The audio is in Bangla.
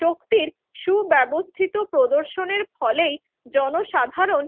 শক্তির সুব্যবস্থিত প্রদর্শনীর ফলেই জনসাধারণ